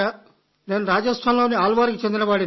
నేను రాజస్థాన్ లోని అల్ వర్ కు చెందినవాడిని